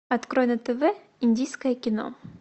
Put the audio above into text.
открой на тв индийское кино